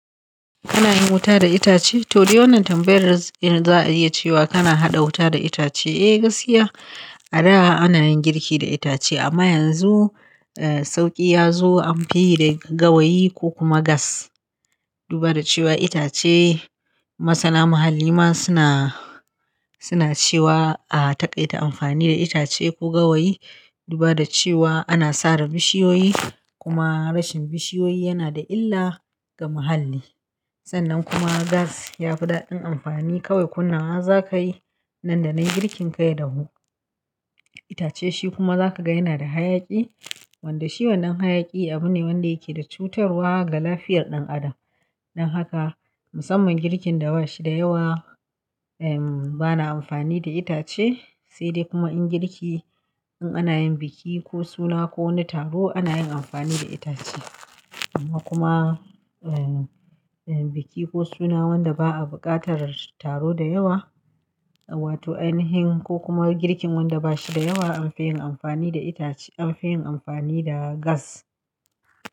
Kana yin wuta da itace? Toh, fa wannan tambayar in za'a iya cewa kana haɗa wuta da itace. Eh, gaskiya. A da ana yin girki da itace amma yanzu, sauƙi ya zo an fi yi da gawayi ko kuma gas. Duba da cewa itace, masana muhalli ma suna, suna cewa a taƙaita amfani da itace ko gawayi. Duba da cewa ana sare bishiyoyi kuma rashin bishiyoyi yana da illa ga muhalli. Sannan kuma gas ya fi daɗin amfani kawai. Kunnawa za ka yi, nan da na yi girkin ka ya da hu. Itace shi kuma za ka ga yana da hayaki. Wanda shi wannan hayaki abu ne wanda yake da cutarwa ga lafiyar ɗan adam. Don haka musamman girkin da bashi da yawa, bana amfani da itace, sai dai kuma in girki in ana yin biki ko suna ko wani taro ana yin amfani da itace. Amma kuma biki ko suna wanda ba a buƙatar taro da yawa, wato ainihin ko kuma girkin wanda bashi da yawa an fi yin amfani da itace, an fi yin amfani da gas.